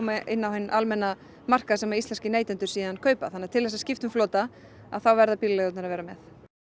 inn á hinn almenna markað sem íslenskir neytendur síðan kaupa þannig að til þess skipta um flota að þá verða bílaleigurnar að vera með